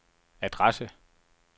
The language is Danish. adresse